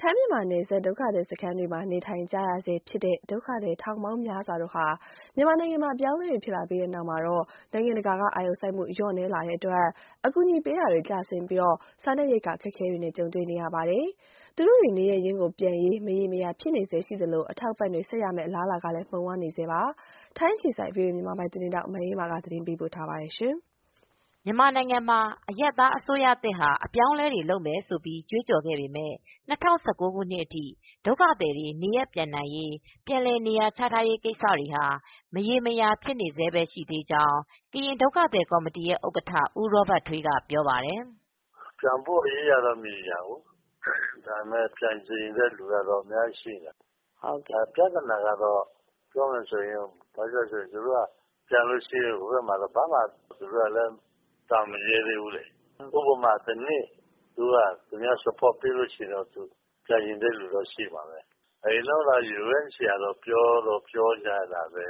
ထိုင်း-မြန်မာနယ်စပ် ဒုက္ခသည်စခန်းတွေမှာ နေထိုင်နေကြရဆဲဖြစ်တဲ့ ဒုက္ခသည် ထောင်ပေါင်းများစွာဟာ မြန်မာနိုင်ငံမှာ အပြောင်းအလဲတွေ ဖြစ်လာပြီးတဲ့နောက် နိုင်ငံတကာက အာရုံစိုက်မှု လျော့နည်းလာတဲ့အတွက် အကူအညီပေးတာတွေ ကျဆင်း ပြီး စားနပ်ရိက္ခာ အခက်အခဲတွေနဲ့ ကြုံတွေ့နေကြရပါတယ်။ သူတို့တွေ နေရပ်ရင်းပြန်ရေး မရေမရာဖြစ်နေဆဲရှိသလို အထောက်အပံ့တွေ ဆက်ရမယ့်အလားအလာကလည်း မှုန်ဝါးနေပါတယ်။ ဒီအကြောင်း ဗွီအိုအေ ထိုင်းအခြေစိုက်သတင်းထောက် မအေးအေးမာက သတင်းပေးပို့ထားပါတယ်။ မြန်မာနိုင်ငံမှာ အရပ်သားအစိုးရအသစ်က အပြောင်းအလဲတွေလုပ်မယ်ဆိုပြီး ကြွေးကြော်ခဲ့ပေမဲ့ ၂၀၁၉ခုနှစ်အထိ ဒုက္ခသည်တွေ နေရပ် ပြန်နိုင်ရေး ပြန်လည်နေရချရေး ကိစ္စတွေဟာမရေရာ ဖြစ်နေဆဲပဲ ရှိနေသေးကြောင်း ကရင်ဒုက္ခသည်ကော်မတီဥက္ကဌ ဦးရောဘတ်ထွေးကပြောပါတယ်။ "ပြန်ဖို့ အရေးကတေ့ာ မရေရာဘူး ပြန်ချင်တဲ့သူကတော့အများကြီးရှိတယ်။ ပြဿနာကတော့ ပြောမယ်ဆိုရင် ဟိုဘက်မှာ ဘာမှမရှိတော့ မပြန်ရဲသေးဘူး။ ဥပမာ တနှစ်လောက် ထောက်ပံ့တာမျိုးရှိရင်တော့ ပြန်ချင်တာတော့ရှိတာပေါ့။ UNHCR က ပြောတော့ပြောတာပဲ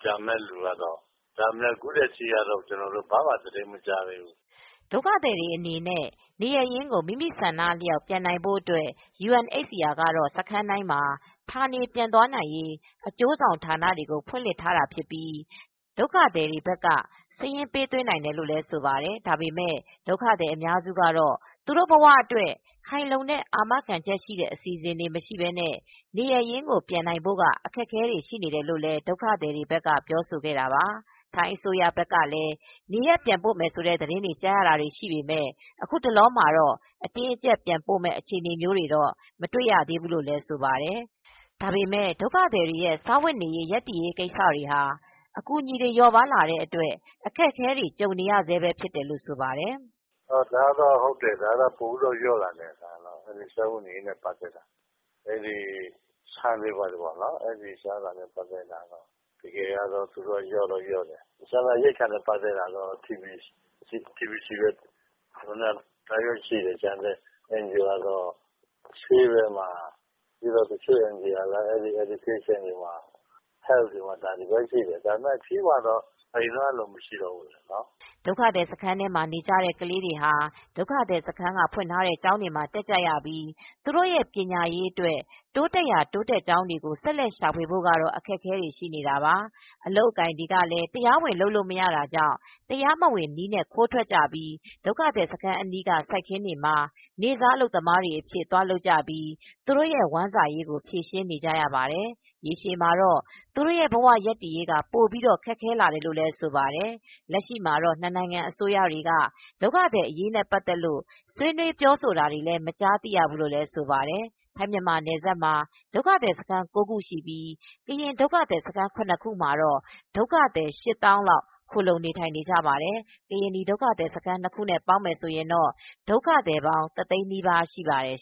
ပြန်မယ့်သူကတော့ အခုထိ သတင်းမကြားသေးဘူး။ ဒုက္ခသည်တွေအနေနဲ့ နေရပ်ရင်ကို မိမိဆန္ဒအလျောက်ပြန်နိုင်ဖို့ အတွက် UNHCR ကတော့ ဒုက္ခသည်စခန်းတိုင်းမှာ ဌာနေပြန်သွားနိုင်ရေး အကျိုးဆောင်ဌာနတွေကို ဖွင့်လှစ်ထားတာဖြစ်ပြီး ဒုက္ခသည်တွေဘက်က စာရင်းပေးသွင်းနိုင်တယ်လို့ ဆိုပါတယ်။ ဒါပေမယ့်လည်း ဒုက္ခသည်အများစုကတော့ သူတို့ဘဝအတွက် ခိုင်လုံတဲ့ အာမခံချက်ရှိတဲ့ အစီစဉ်တွေ မရှိပဲနဲ့ နေရပ်ရင်းပြန်နိုင်ဖို့က အခက်အခဲရှိနေတယ်လို့လည်း ဒုက္ခသည်တွေဘက်ကပြောဆိုခဲ့တာပါ။ ထိုင်းအစိုးရဘက်က နေရပ်ပြန်ပို့မယ် ဆိုတဲ့သတင်းတွေကြားရတာတွေ ရှိပေမယ့် အခုတလောမှာတော့ အတင်းအကြပ်ပြန်ပို့မယ့် အခြေအနေမျိုးတွေတော့မတွေ့ရသေးဘူးလို့လည်းဆိုပါတယ်။ ဒါပေမယ့် ဒုက္ခသည်တွေရဲ့ စာဝတ်နေရေးရပ်တည်ရေး ကိစ္စတွေဟာအကူညီတွေ လျော့ပါးလာတဲ့အတွက် အခက်အခဲတွေကြုံနေရဆဲဖြစ်တယ်လို့ ဆိုပါတယ်။ "ဒါတော့ ပိုလျော့လာတယ်။ ဆန်တွေဘာတွေ လျော့တယ်။ စားနပ်ရိက္ခာကတော့ TBBC ပဲရှိတယ်။ ကျန်တဲ့ အန်ဂျီအိုကတော့ ဆေးဘက်မှာ တချို့က ကတော့ပညာရေး နဲ့ ကျန်းမာရေးဘက်မှာ အနည်းငယ်ရှိတယ်။ ဒါပေမယ့် အပြည့်အဝတော့ အရင်တုန်းကလို မရှိသေးဘူး။" ဒုက္ခသည်စခန်းထဲမှာ နေကြတဲ့ကလေးတွေ ကတော့ ဒုက္ခသည်စခန်းက ဖွင့်ထားတဲ့ကျောင်းတွေမှာတက်ပြီး သူတို့ ပညာရေးအတွက်တိုးတက်ရာ တိုးတက်ကြောင်းတွေကို ဆက်လက်ရှာဖွေဖို့ အခက်အခဲတွေ ရှိနေတာပါ။ အလုပ်အကိုင်တွေလည်း တရားဝင်လုပ်လို့ မရတာကြောင့် တရားမဝင်တဲ့နည်းနဲ့ ခိုးထွက်ပြီး ဒုက္ခသည်စခန်းအနီးအနားက စိုက်ခင်းတွေမှာ နေ့စားအလုပ်သမားတွေအဖြစ်သွားလုပ်ကြပြီး သူတို့ရဲ့ဝမ်းစာရေးကို ဖြေရှင်းနေကြရပါတယ်။ ရေရှည်မှာတော့ သူတို့ဘဝရပ်တည်ရေးက ပိုပြီး ခက်ခဲလာတယ်လို့ဆိုပါတယ်။ လက်ရှိမှာတောာ့ နှစ်နိုင်ငံအစိုးရတွေက ဒုက္ခသည်အရေးနဲ့ ပတ်သက်လို့ဆွေးနွေးပြောဆိုတာတွေ မကြားသိရဘူးလို့လည်းဆိုပါတယ်။ ထိုင်း-မြန်မာနယ်စပ်မှာ ဒုက္ခသည်စခန်း ၉ခုရှိပြီး ကရင်ဒုက္ခသည်စခန်း ၇ခုမှာ ဒုက္ခသည် ၈သောင်းလောက် ခိုလှုံနေထိုင်နေကြပါတယ်။ ကရင်နီဒုက္ခသည်စခန်း ၂ခုနဲ့ ပေါင်းရင်တော့ ဒုက္ခသည်ပေါင်း တသိန်းနီးပါးရှိပါတယ်